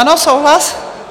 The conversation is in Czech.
Ano, souhlas?